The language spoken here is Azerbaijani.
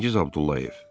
Çingiz Abdullayev.